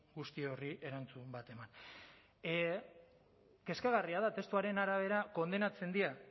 guzti horri erantzun bat eman kezkagarria da testuaren arabera kondenatzen dira